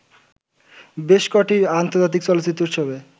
বেশকটি আন্তর্জাতিক চলচ্চিত্র উৎসবে